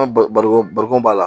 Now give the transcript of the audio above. barikon b'a la